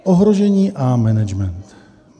Ohrožení a management.